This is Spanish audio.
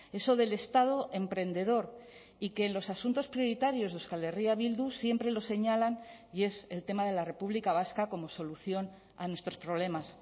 eso del estado emprendedor y que en los asuntos prioritarios de euskal herria bildu siempre los señalan y es el tema de la república vasca como solución a nuestros problemas